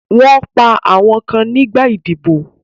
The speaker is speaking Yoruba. Wọ́n pa àwọn kan nígbà idiboy